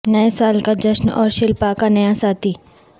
نئے سال کا جشن اور شلپا کا نیا ساتھی